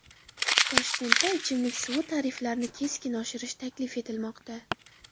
Toshkentda ichimlik suvi tariflarini keskin oshirish taklif etilmoqda.